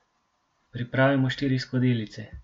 Pripravimo štiri skodelice.